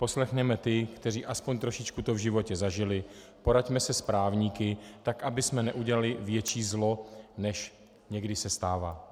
Poslechněme ty, kteří aspoň trošičku to v životě zažili, poraďme se s právníky, tak abychom neudělali větší zlo, než někdy se stává.